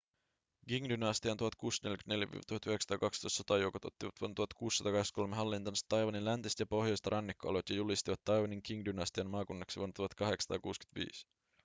qing-dynastian 1644–1912 sotajoukot ottivat vuonna 1683 hallintaansa taiwanin läntiset ja pohjoiset rannikkoalueet ja julistivat taiwanin qing-dynastian maakunnaksi vuonna 1885